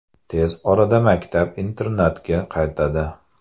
Tez orada maktab-internatga qaytadi.